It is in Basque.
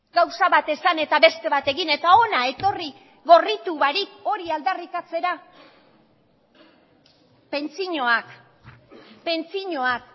gauza bat esan eta beste bat egin eta hona etorri gorritu barik hori aldarrikatzea pentsioak pentsioak